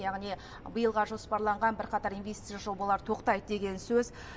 яғни биылға жоспарланған бірқатар инвестициялық жобалар тоқтайды деген сөз